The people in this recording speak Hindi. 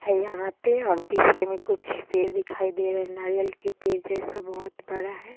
है यहाँ पे और पीछे में कुछ पेड़ दिखाई दे रहे है नारियल के पेड़ जैसा बहुत बड़ा है।